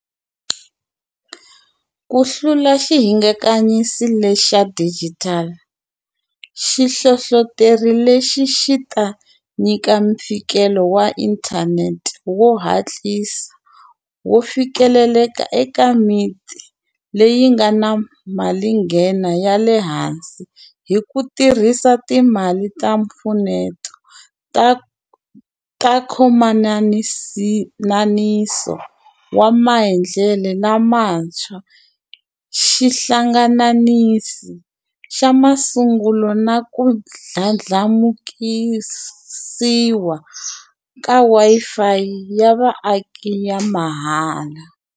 Ku hlula xihingakanyi lexa xidijitali, xihlohloteri lexi xi ta nyika mfikelo wa inthanete wo hatlisa, wo fikeleleka eka miti leyi nga na malinghena ya le hansi hi ku tirhisa timali ta mpfuneto ta nkhomananiso wa maendlelo lamantshwa xihlangananisi xa masungulo na ku ndla ndlamukisiwa ka Wi-Fi ya vaaki ya mahala.